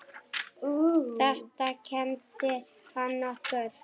Þetta kenndi hann okkur.